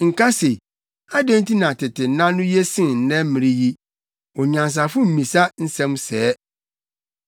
Nka se, “Adɛn nti na tete nna no ye sen nnɛ mmere yi?” Onyansafo mmisa nsɛm sɛɛ.